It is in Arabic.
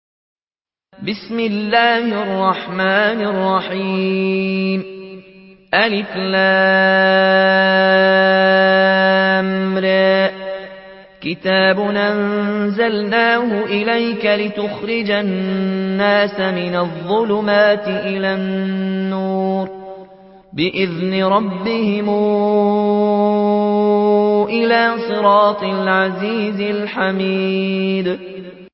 الر ۚ كِتَابٌ أَنزَلْنَاهُ إِلَيْكَ لِتُخْرِجَ النَّاسَ مِنَ الظُّلُمَاتِ إِلَى النُّورِ بِإِذْنِ رَبِّهِمْ إِلَىٰ صِرَاطِ الْعَزِيزِ الْحَمِيدِ